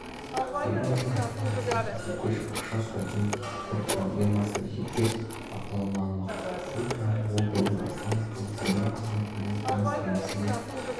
елорда әкімі әсет исекешев ақша сұрайтын мектептер проблемасын жеке бақылауына алмақ бұл туралы ол бүгін астана қаласы білім қызметкерлерінің тамыз кеңесінде